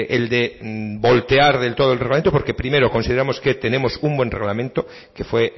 el de voltear del todo el reglamento porque primero consideramos que tenemos un buen reglamento que fue